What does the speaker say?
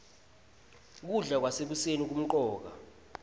kudla kwasekuseni kumcoka